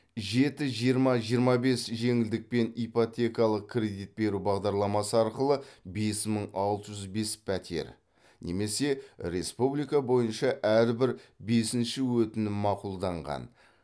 жеті жиырма жиырма бес жеңілдікпен ипотекалық кредит беру бағдарламасы арқылы бес мың алты жүз бес пәтер немесе республика бойынша әрбір бесінші өтінім мақұлданған